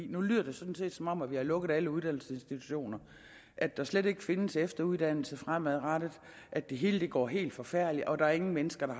nu lyder det sådan set som om vi har lukket alle uddannelsesinstitutioner at der slet ikke findes efteruddannelse fremadrettet at det hele går helt forfærdeligt og at der ingen mennesker er